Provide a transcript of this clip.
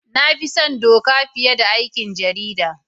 Na fi son Doka fiye da aikin jarida.